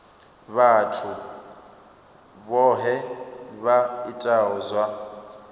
vhathu vhohe vha itaho zwa